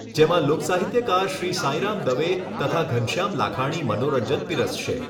જેમાં લોકસાહિત્યકાર શ્રી સાઇરામ દવે તથા ઘનશ્યામ લાખાણી મનોરંજન પીરસશે.